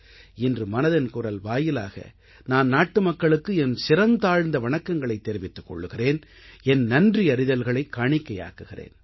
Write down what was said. இன்று மனதின் குரல் வாயிலாக நான் நாட்டுமக்களுக்கு என் சிரம் தாழ்ந்த வணக்கங்களைத் தெரிவித்துக் கொள்கிறேன் என் நன்றியறிதல்களைக் காணிக்கையாக்குகிறேன்